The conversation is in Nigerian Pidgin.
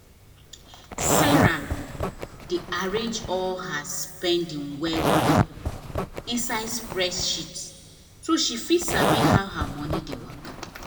sarah dey arrange all her spending well well inside spreadsheet so she fit sabi how her money dey waka.